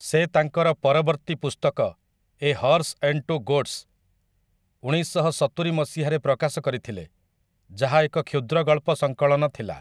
ସେ ତାଙ୍କର ପରବର୍ତ୍ତୀ ପୁସ୍ତକ 'a horse and two goats' ଉଣେଇଶଶହ ସତୁରି ମସିହାରେ ପ୍ରକାଶ କରିଥିଲେ, ଯାହା ଏକ କ୍ଷୁଦ୍ରଗଳ୍ପ ସଙ୍କଳନ ଥିଲା ।